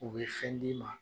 U bɛ fɛn di ma